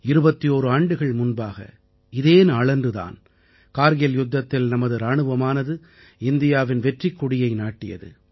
21 ஆண்டுகள் முன்பாக இதே நாளன்று தான் கார்கில் யுத்தத்தில் நமது இராணுவமானது இந்தியாவின் வெற்றிக் கொடியை நாட்டியது